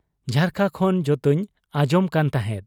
ᱡᱷᱟᱨᱠᱟ ᱠᱷᱚᱱ ᱡᱚᱛᱚᱧ ᱟᱸᱜᱡᱚᱢ ᱠᱟᱱ ᱛᱟᱦᱮᱸᱫ ᱾